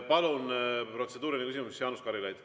Palun, protseduuriline küsimus, Jaanus Karilaid!